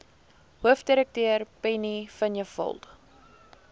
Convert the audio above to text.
hoofdirekteur penny vinjevold